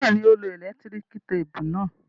Bẹ́ẹ̀ni, ó lo ẹ̀lẹ́tíríkì téépù náà.